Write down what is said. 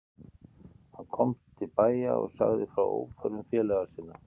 Hann komst til bæja og sagði frá óförum félaga sinna.